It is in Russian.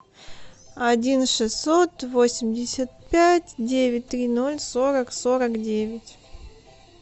один шестьсот восемьдесят пять девять три ноль сорок сорок девять